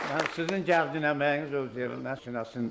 Sizin çəkdiyiniz əməyiniz öz yerində sinəsinə.